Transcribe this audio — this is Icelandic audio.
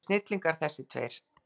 Þeir eru snillingar þessir tveir.